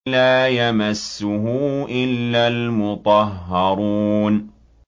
لَّا يَمَسُّهُ إِلَّا الْمُطَهَّرُونَ